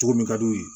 Cogo min kad'u ye